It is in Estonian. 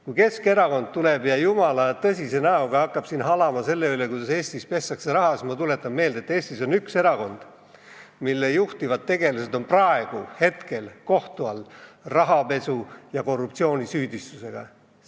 Kui Keskerakond tuleb ja hakkab jumala tõsise näoga halama selle üle, kuidas Eestis pestakse raha, siis ma tuletan meelde, et Eestis on üks erakond, mille juhtivad tegelased on praegu rahapesu- ja korruptsioonisüüdistusega kohtu all.